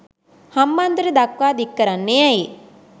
හම්බන්තොට දක්වා දික්කරන්නේ ඇයි.